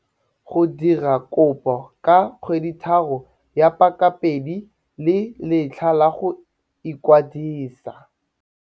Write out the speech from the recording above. Go dira kopo ka kgweditharo ya pakapedi le letlha la go ikwadisa.